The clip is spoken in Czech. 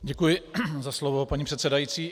Děkuji za slovo, paní předsedající.